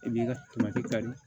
I b'i ka